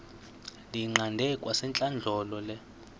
ndiyiqande kwasentlandlolo le